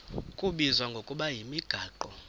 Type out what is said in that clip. kubizwa ngokuba yimigaqo